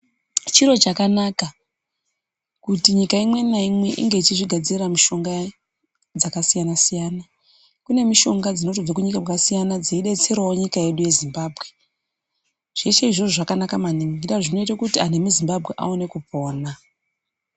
Chiro chakanaka kuti nyika imwe naimwe inge ichizvigadzirira mishonga yayo dzakasiyana-siyana, kune mishonga dzinobve kunyika dzakasiyana dzeidetserawo nyika yedu yeZimbabwe zveshe izvozvo zvakanaka maningi zvinoita kunti anhu emuZimbabwe aone kupona.